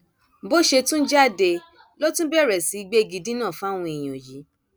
bó ṣe tún jáde ló tún bẹrẹ sí í gbégidínà fáwọn èèyàn yìí